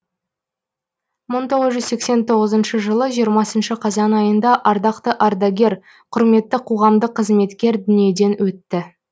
мың тоғыз жүз сексен тоғызыншы жылы жиырмасыншы қазан айында ардақты ардагер құрметті қоғамдық қызметкер дүниеден өтті